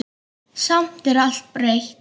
Samt er allt breytt.